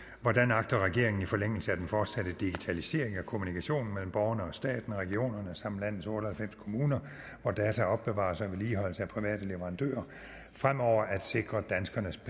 agter regeringen i forlængelse af den forsatte digitalisering af kommunikationen mellem borgerne og staten regionerne samt landets otte og halvfems kommuner hvor data opbevares og vedligeholdes af private leverandører fremover at sikre danskernes